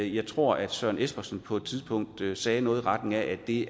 jeg tror at søren espersen på et tidspunkt sagde noget i retning af at det